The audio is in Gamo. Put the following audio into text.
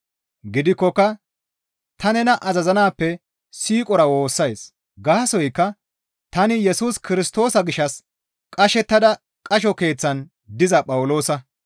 Gidikkoka ta nena azazanaappe siiqora woossays; gaasoykka tani Yesus Kirstoosa gishshas qashettada qasho keeththan diza Phawuloosa.